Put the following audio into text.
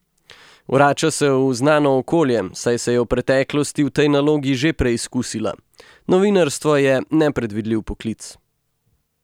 Vrača se v znano okolje, saj se je v preteklosti v tej nalogi že preizkusila: 'Novinarstvo je nepredvidljiv poklic.